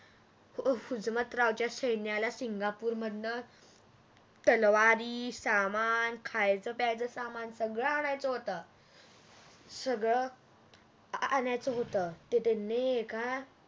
हुजमतरावच्या सैन्याला सिंगापूर मधण तलवारी सामान खायच प्यायच सामान सगळ आणायच होत सगळ आणायच होत ते त्यांनी एका